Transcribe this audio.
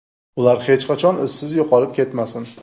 Ular hech qachon izsiz yo‘qolib ketmasin.